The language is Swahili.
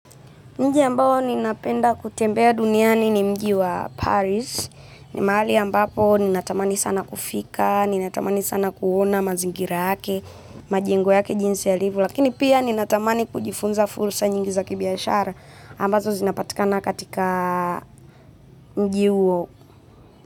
Mji ambao ninapenda kutembea duniani ni mji wa Paris, ni mahali ambapo ninatamani sana kufika, ninatamani sana kuona mazingira yake, majengo yake jinsi yalivyo, lakini pia ninatamani kujifunza fursa nyingi za kibiashara ambazo zinapatikana katika mji huo.